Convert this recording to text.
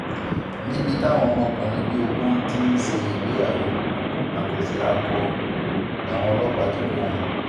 níbi táwọn ọmọkùnrin bíi ogún ti ń ṣègbéyàwó akọ-sí-akọ làwọn ọlọ́pàá ti kọ́ wọn